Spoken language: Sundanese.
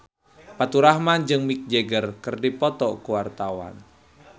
Faturrahman jeung Mick Jagger keur dipoto ku wartawan